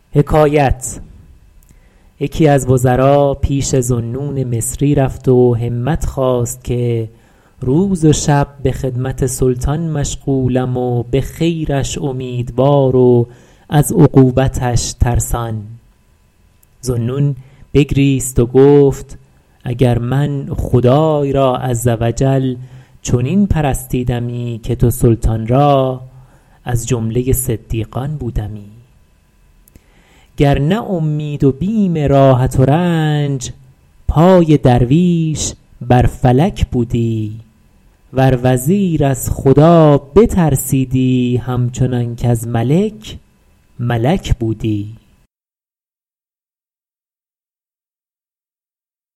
یکی از وزرا پیش ذوالنون مصری رفت و همت خواست که روز و شب به خدمت سلطان مشغولم و به خیرش امیدوار و از عقوبتش ترسان ذوالنون بگریست و گفت اگر من خدای را عز و جل چنین پرستیدمی که تو سلطان را از جمله صدیقان بودمی گر نه اومید و بیم راحت و رنج پای درویش بر فلک بودی ور وزیر از خدا بترسیدی هم چنان کز ملک ملک بودی